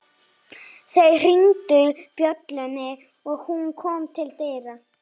Þeir hringdu bjöllunni og hún kom til dyra.